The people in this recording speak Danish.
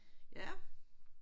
Ja